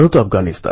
খুশি হল